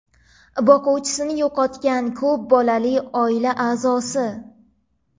Boquvchisini yo‘qotgan ko‘p bolali oila a’zosi;.